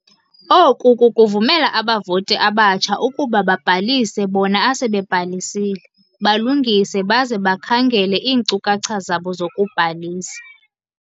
"Oku kukuvumela abavoti abatsha ukuba babhalise bona asebebhalisile balungise baze bakhangele iinkcukhacha zabo zokubhalisa."